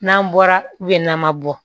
N'an bɔra n'an ma bɔ